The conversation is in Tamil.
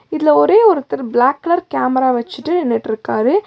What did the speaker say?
இதுல ஒரே ஒருத்தர் பிளாக் கலர் கேமரா வச்சுட்டு நின்னுட்டுருக்காரு.